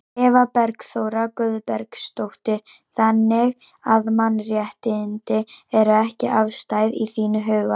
Eva Bergþóra Guðbergsdóttir: Þannig að mannréttindi eru ekki afstæð í þínum huga?